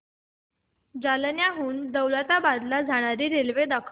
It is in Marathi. जालन्याहून दौलताबाद ला जाणारी रेल्वे दाखव